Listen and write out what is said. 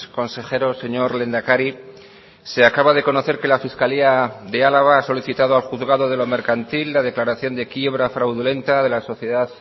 consejeros señor lehendakari se acaba de conocer que la fiscalía de álava ha solicitado al juzgado de lo mercantil la declaración de quiebra fraudulenta de la sociedad